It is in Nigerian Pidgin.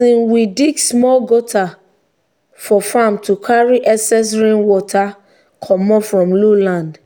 um we dig small gutter for farm to carry excess rainwater commot from lowland.